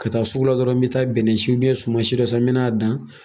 Ka taa sugula dɔrɔn n bɛ taa bɛnɛsun suman si dɔ sen n bɛn'a dan.